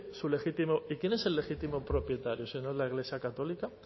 su legítimo y quién es el legítimo propietario si no es la iglesia católica